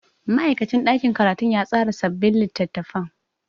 Ma'aikacin ɗakin karatu ya tsara sabbin littattafan.